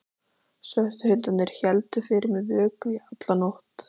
Svörtu hundarnir héldu fyrir mér vöku í alla nótt.